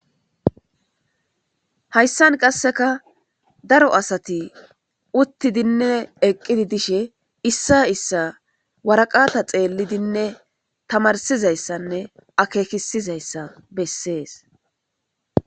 Hayssan qasseka daro asati uttidinne eqqidi dishe issa issa waraqata xeellidinne tamarsizayssanne akeekisizayssa bessees.